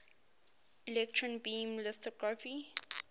electron beam lithography